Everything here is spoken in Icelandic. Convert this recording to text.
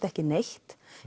ekki neitt